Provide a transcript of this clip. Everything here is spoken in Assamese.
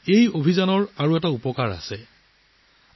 এই অভিযানৰ আন এটা সুবিধা থাকিব